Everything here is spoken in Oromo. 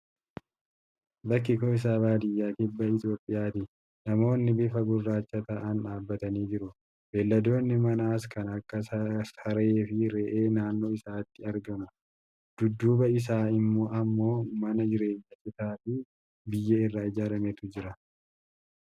Bakki isaa baadiyyaa Kibba Itoophiyaati. Namoonni bifaa gurraacha ta'an dhaabatanii jiru. beelladoonni manaas kan akka saree fi re'ee naannoo isaaniitti argamu. Dudduuba isaanii ammoo mana jireenyaa citaa fi biyyee irraa ijaarametu jira.